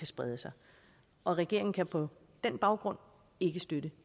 sprede sig regeringen kan på den baggrund ikke støtte